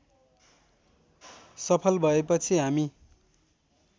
सफल भएपछि हामी